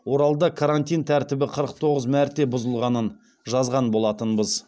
оралда карантин тәртібі қырық тоғыз мәрте бұзылғанын жазған болатынбыз